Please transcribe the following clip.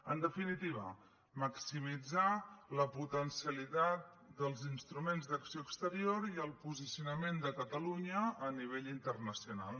en definitiva maximitzar la potencialitat dels instruments d’acció exterior i el posicionament de catalunya a nivell internacional